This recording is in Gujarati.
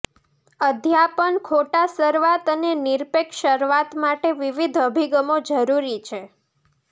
અધ્યાપન ખોટા શરૂઆત અને નિરપેક્ષ શરૂઆત માટે વિવિધ અભિગમો જરૂરી છે